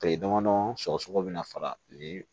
Tile damadɔɔn sɔgɔ bɛ na fara kile